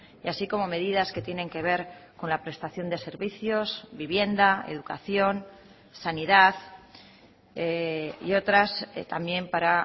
y así como medidas que tienen que ver con la prestación de servicios vivienda educación sanidad y otras también para